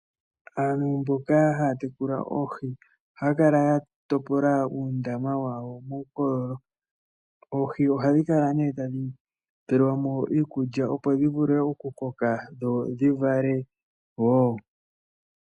Aantu mboka haya tekula oohi, ohaya kala ya topola uundama wawo muukololo. Oohi ohadhi kala ne tadhi tu lilwamo iikulya opo dhi vule oku koka, dhi vale wo.